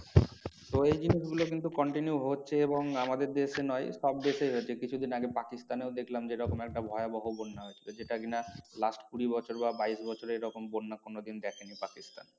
তো এই জিনিস গুলো কিন্তু continue হচ্ছে এবং আমাদের দেশে নয় সব দেশে হচ্ছে কিছুদিন আগে পাকিস্তানেও দেখলাম যে এরকম একটা ভয়াবহ বন্যা হয়েছিল যেটা কি না last কুড়ি বছর বা বাইশ বছরে এরকম বন্যা কোনো দিন দেখেনি পাকিস্তান